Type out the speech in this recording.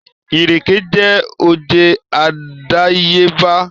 Ìrèké jẹ́ oje àdàyébá